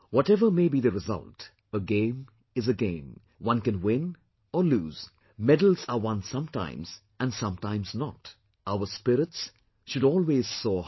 Whatever may be the result, a game is a game, one can win or lose, medals are won sometimes and sometimes not; our spirits should always soar high